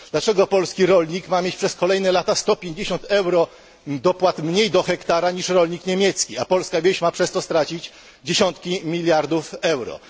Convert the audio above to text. Dlaczego polski rolnik ma mieć przez kolejne lata o 150 euro dopłat mniej do hektara niż rolnik niemiecki, a polska wieś ma przez to stracić dziesiątki miliardów euro?